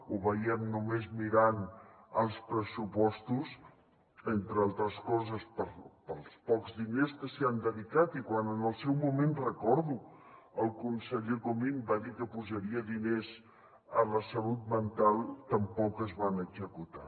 ho veiem només mirant els pressupostos entre altres coses pels pocs diners que s’hi han dedicat i quan en el seu moment recordo que el conseller comín va dir que posaria diners a la salut mental tampoc es van executar